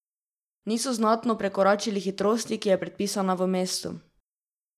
Niso znatno prekoračili hitrosti, ki je predpisana v mestu.